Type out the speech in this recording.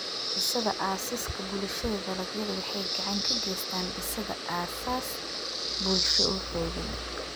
Dhisida Aasaaska Bulshada Dalagyadu waxay gacan ka geystaan ??dhisidda aasaas bulsho oo xooggan.